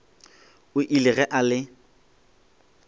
o ile ge a le